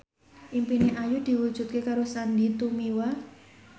impine Ayu diwujudke karo Sandy Tumiwa